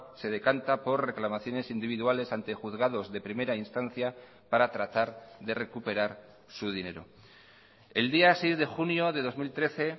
se decanta por reclamaciones individuales ante juzgados de primera instancia para tratar de recuperar su dinero el día seis de junio de dos mil trece